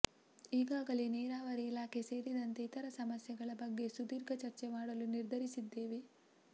ಈಗಾಗಲೇ ನೀರಾವರಿ ಇಲಾಖೆ ಸೇರಿದಂತೆ ಇತರ ಸಮಸ್ಯೆಗಳ ಬಗ್ಗೆ ಸುದೀರ್ಘ ಚರ್ಚೆ ಮಾಡಲು ನಿರ್ಧರಿಸಿದ್ದೇನೆ